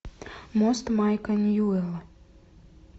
мост майка ньюэлла